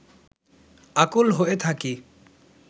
আকুল হয়ে থাকি